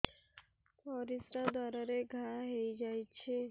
ପରିଶ୍ରା ଦ୍ୱାର ରେ ଘା ହେଇଯାଇଛି